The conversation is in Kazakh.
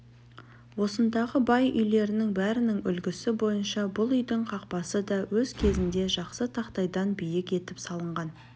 осындағы бай үйлерінің бәрінің үлгісі бойынша бұл үйдің қақпасы да өз кезінде жақсы тақтайдан биік етіп салынған